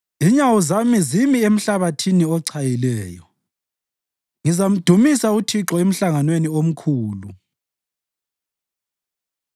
Inyawo zami zimi emhlabathini ochayileyo; ngizamdumisa uThixo emhlanganweni omkhulu.